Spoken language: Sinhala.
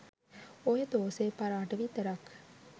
ඔය තෝසෙ පරාට විතරක්